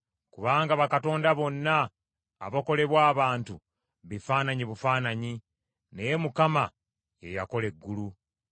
Kubanga bakatonda bonna abakolebwa abantu bifaananyi bufaananyi; naye Mukama ye yakola eggulu.